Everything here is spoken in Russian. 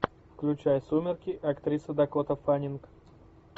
включай сумерки актриса дакота фаннинг